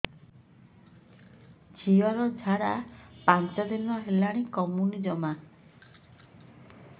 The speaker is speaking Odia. ଝିଅର ଝାଡା ପାଞ୍ଚ ଦିନ ହେଲାଣି କମୁନି ଜମା